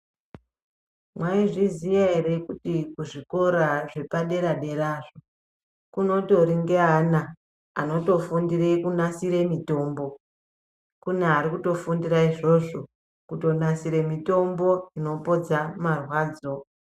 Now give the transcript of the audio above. Mwaizviziya ere kuti kuzvikora zvepadera dera kunotori neana anotofundire kunasire mitombo kune arikutofundire izvozvo kutonasire mutombo unopodza marwadzo.